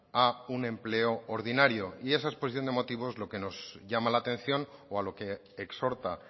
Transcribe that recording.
a un empleo ordinario y esa exposición de motivos lo que nos llama la atención o a lo que exhorta